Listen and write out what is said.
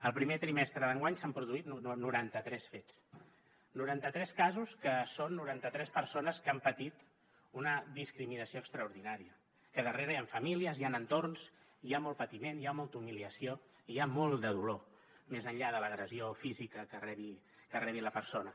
el primer trimestre d’enguany s’han produït noranta tres fets noranta tres casos que són noranta tres persones que han patit una discriminació extraordinària que a darrere hi han famílies hi han entorns hi ha molt patiment hi ha molta humiliació i hi ha molt de dolor més enllà de l’agressió física que rebi la persona